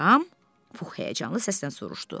Pux həyəcanlı səsdən soruşdu.